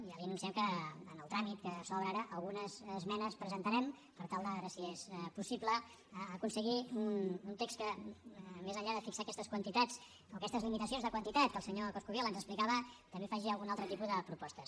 ja li anunciem que en el tràmit que s’obre ara algunes esmenes presentarem per tal de veure si és possible aconseguir un text que més enllà de fixar aquestes quantitats o aquestes limitacions de quantitat que el senyor coscubiela ens explicava també faci algun altre tipus de propostes